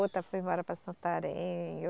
Outra foi embora para Santarém.